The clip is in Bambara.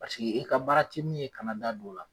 Paseke e ka baara tɛ min ye, kana da don o la.